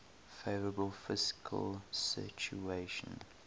favourable fiscal situation